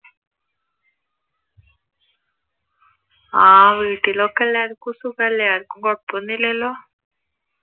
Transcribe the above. ആഹ് വീട്ടിലൊക്കെ എല്ലാര്‍ക്കും സുഖല്ലേ ആർക്കും കൊഴപ്പം ഒന്നും ഇല്ലല്ലോ?